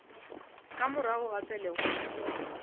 ka morago ga pelego ya